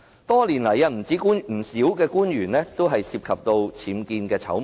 多年來，不少官員都涉及僭建醜聞。